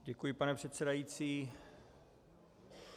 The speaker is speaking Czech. Děkuji, pane předsedající.